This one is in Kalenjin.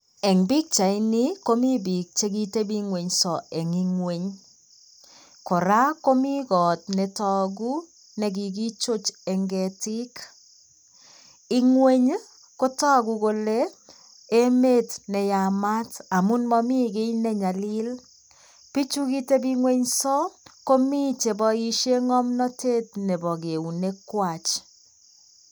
Eng' pikchaini komito biik chekitebung'nso eng ng'wony. Kora komii koot netagu nekikichoj eng ketik.Ng'wony kotagu kole emet neyamaat amuun mamii kiy ne nyalil. Bichu kitebung'onso komii che boishe ng'omnated nebo keunekwaj.